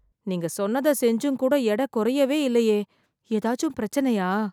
நீங்க சொன்னத செஞ்சும் கூட எடை குறையவே இல்லையே, ஏதாச்சும் பிரச்சனையா?